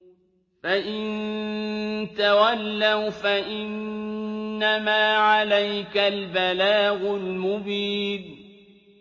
فَإِن تَوَلَّوْا فَإِنَّمَا عَلَيْكَ الْبَلَاغُ الْمُبِينُ